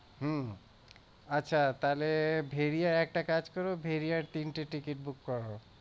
হম আচ্ছা তাহলে bhediya একটা কাজ করো bhediya এর তিনটে ticket book করো